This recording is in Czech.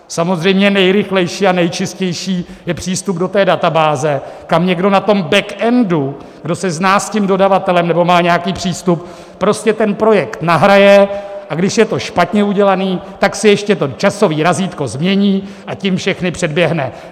Samozřejmě nejrychlejší a nejčistší je přístup do té databáze, kam někdo na tom backendu, kdo se zná s tím dodavatelem nebo má nějaký přístup, prostě ten projekt nahraje, a když je to špatně udělané, tak si ještě to časové razítko změní, a tím všechny předběhne.